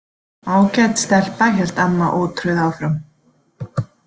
Ágæt stelpa, hélt amma ótrauð áfram.